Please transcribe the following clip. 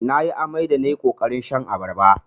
Nayi amai da nayi ƙoƙarin shan abarba.